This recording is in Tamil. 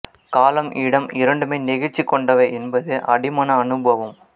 காலம் இடம் இரண்டுமே நெகிழ்ச்சி கொண்டவை என்பது அடிமன அனுபவம்